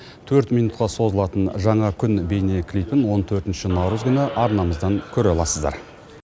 төрт минутқа созылатын жаңа күн бейнеклипін он төртінші наурыз күні арнамыздан көре аласыздар